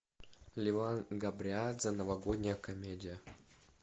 леван габриадзе новогодняя комедия